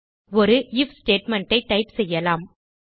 ஒரு if statement ஐ type செய்யலாம்